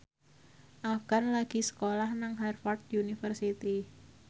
Afgan lagi sekolah nang Harvard university